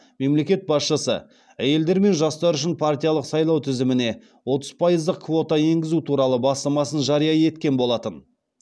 мемлекет басшысы әйелдер мен жастар үшін партиялық сайлау тізіміне отыз пайыздық квота енгізу туралы бастамасын жария еткен болатын